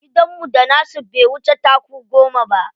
Gidanmu da nasu bai wuce taku goma ba.